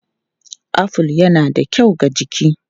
Aful yana da kyau ga jiki.